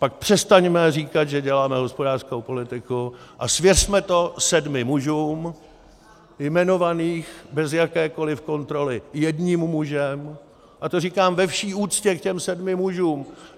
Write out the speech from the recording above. Pak přestaňme říkat, že děláme hospodářskou politiku, a svěřme to sedmi mužům jmenovaným bez jakékoliv kontroly jedním mužem, a to říkám ve vší úctě k těm sedmi mužům.